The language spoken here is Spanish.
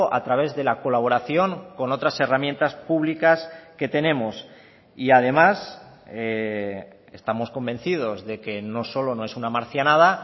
a través de la colaboración con otras herramientas públicas que tenemos y además estamos convencidos de que no solo no es una marcianada